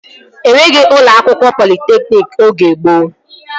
Enweghị ụlọ akwụkwọ politekniki oge gboo